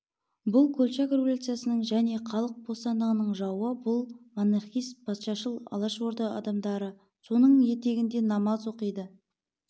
бұл колчак революцияның және халық бостандығының жауы бұл монархист патшашыл алашорда адамдары соның етегіне намаз оқиды